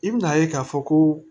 I bi n'a ye k'a fɔ ko